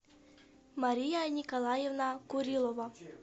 мария николаевна курилова